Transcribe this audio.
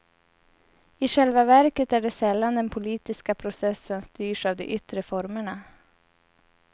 I själva verket är det sällan den politiska processen styrs av de yttre formerna.